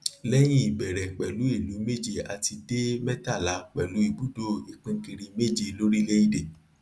lẹyìn ìbẹrẹ pẹlú ìlú méje a ti dé mẹtàlá pẹlú ibùdó ipínkiri méje lórílẹèdè